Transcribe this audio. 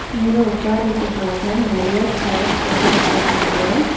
இங்க உக்கார்றதுக்காக நறையா சேர்ஸ் போட்டு வெச்சிருக்காங்க.